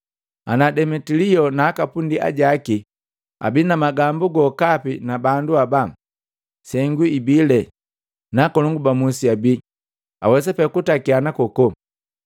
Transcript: Ana Demetilio na aka pundi ajaki abi na magambu gokapi na bandu haba, sengu ibile na akolongu ba musi abi, awesa pee kutakiana kokoko.